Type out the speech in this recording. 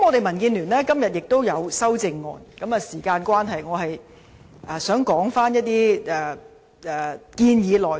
民建聯今天亦有提出修正案，但由於時間關係，我只會談談部分建議的內容。